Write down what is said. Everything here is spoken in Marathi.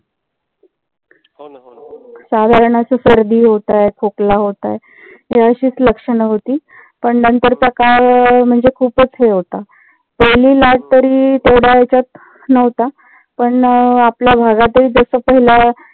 साधारण अशी सर्दी होत आहे. खोकला होत आहे. हि अशीच लक्षण होती. पण नंतरचा काळ म्हणजे खूपच हे होता. पहिली लाट तरी तेवढा ह्याच्यात नव्हता. पण आपल्या भागात हि त्याचा पहिला